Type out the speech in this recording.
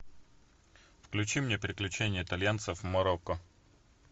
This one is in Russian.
включи мне приключения итальянцев в марокко